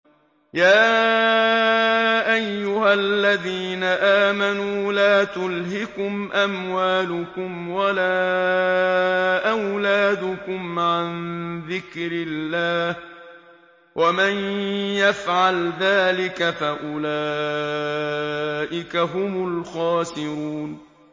يَا أَيُّهَا الَّذِينَ آمَنُوا لَا تُلْهِكُمْ أَمْوَالُكُمْ وَلَا أَوْلَادُكُمْ عَن ذِكْرِ اللَّهِ ۚ وَمَن يَفْعَلْ ذَٰلِكَ فَأُولَٰئِكَ هُمُ الْخَاسِرُونَ